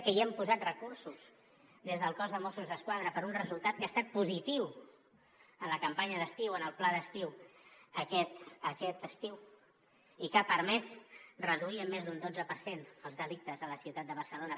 que hi hem posat recursos des del cos de mossos d’esquadra per a un resultat que ha estat positiu en la campanya d’estiu en el pla d’estiu aquest estiu i que ha permès reduir en més d’un dotze per cent els delictes a la ciutat de barcelona